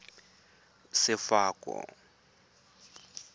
sefako